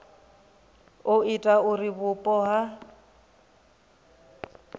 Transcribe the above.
ha ita uri vhupo ha